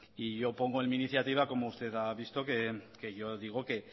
y yo pongo en mi iniciativa como usted ha visto que yo digo que